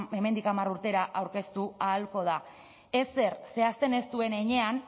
hemendik hamar urtera aurkeztu ahalko da ezer zehazten ez duen heinean